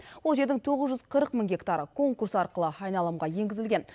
ол жердің тоғыз жүз қырық мың гектары конкурс арқылы айналымға енгізілген